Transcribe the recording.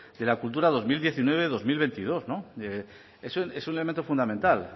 de la cultura dos mil diecinueve dos mil veintidós es un elemento fundamental